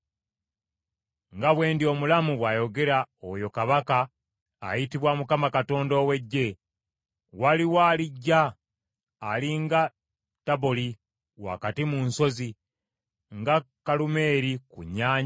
“Nga bwe ndi omulamu,” bw’ayogera oyo Kabaka ayitibwa Mukama Katonda ow’Eggye, “Waliwo alijja ali nga Taboli wakati mu nsozi, nga Kulumeeri ku nnyanja.